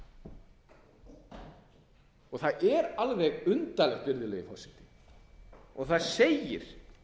sömu rök og það er alveg undarlegt virðulegi forseti og það segir